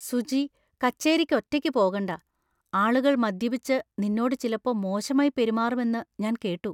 സുചി. കച്ചേരിക്ക് ഒറ്റയ്ക്ക് പോകണ്ട. ആളുകൾ മദ്യപിച്ച് നിന്നോട് ചിലപ്പോ മോശമായി പെരുമാറുമെന്നു ഞാൻ കേട്ടു.